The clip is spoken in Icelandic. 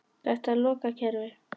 Þetta er lokað kerfi.